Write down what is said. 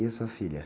E a sua filha?